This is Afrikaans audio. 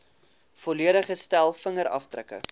volledige stel vingerafdrukke